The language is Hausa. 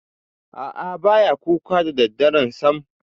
A'a, ba ya kuka da daddare sam.